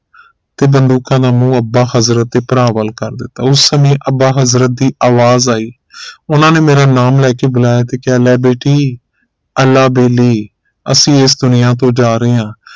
ਤੇ ਬੰਦੂਕਾਂ ਦਾ ਮੂੰਹ ਅੱਬਾ ਹਜ਼ਰਤ ਤੇ ਭਰਾ ਵਲ ਕਰ ਦਿੱਤਾ ਉਸ ਸਮੇ ਅੱਬਾ ਹਜ਼ਰਤ ਦੀ ਆਵਾਜ਼ ਆਈ ਉਨ੍ਹਾਂ ਨੇ ਮੇਰਾ ਨਾਮ ਲੈ ਕੇ ਬੁਲਾਇਆ ਤੇ ਕਿਹਾ ਲੈ ਬੇਟੀ ਅਲਾਹ ਬੇਲੀ ਅਸੀਂ ਇਸ ਦੁਨੀਆ ਤੋਂ ਜਾ ਰਹੇ ਹਾਂ